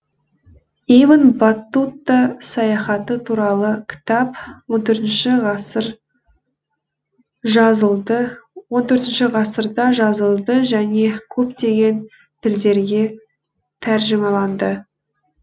ибн баттута саяхаты туралы кітап он төртінші ғасырда жазылды және көптеген тілдерге тәржімаланды